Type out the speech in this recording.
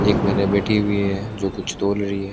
एक महिला बैठी हुई है जो कुछ तोल रही है।